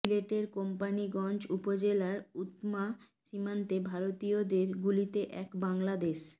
সিলেটের কোম্পানীগঞ্জ উপজেলার উৎমা সীমান্তে ভারতীয়দের গুলিতে এক বাংলাদেশ